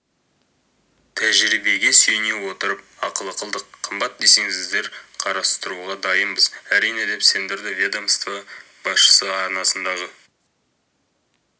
тәжірибеге сүйене отырып ақылы қылдық қымбат десеңіздер қарастыруға дайынбыз әрине деп сендірді ведомство басшысы арнасындағы